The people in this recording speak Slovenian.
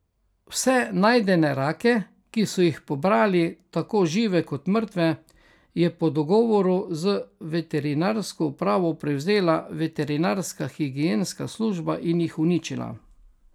Vse najdene rake, ki so jih pobrali, tako žive kot mrtve, je po dogovoru z veterinarsko upravo prevzela veterinarska higienska služba in jih uničila.